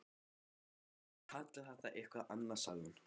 Þá skulum við kalla það eitthvað annað sagði hún.